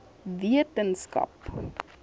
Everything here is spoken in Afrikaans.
wetenskap